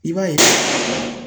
I b'a ye